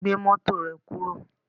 Gbé mọ́tò rẹ kúrò